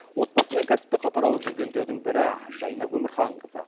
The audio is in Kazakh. отбасы мен кәсіпті қатар алып жүргендердің бірі жайна өмірханқызы